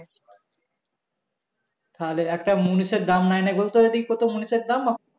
তাহলে একটা মুনিশ এর দাম নেই নেই করে তো এদিকেও মুনিশের দাম